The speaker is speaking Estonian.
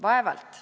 Vaevalt.